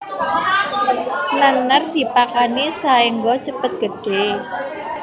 Nènèr dipakani saéngga cepet gedhé